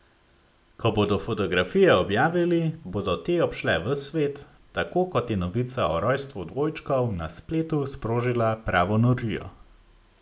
Ko bodo fotografije objavili, bodo te obšle ves svet, tako kot je novica o rojstvu dvojčkov na spletu sprožila pravo norijo.